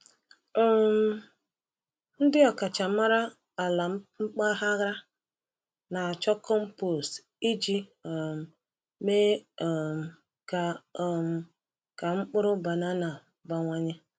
um Ndị ọkachamara ala mpaghara na-achọ compost iji um mee um ka um ka mkpụrụ banana bawanye.